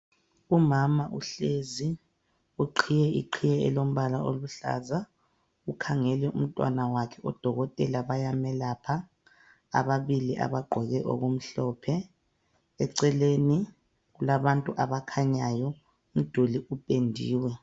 Umama uhlezi uqhiye iqhiye elombala oluhlaza ukhangele umntwana wakhe odokotela bayamelapha ababili abagqoke okumhlophe. Eceleni kulabantu abakhanyayo umduli upendiwe.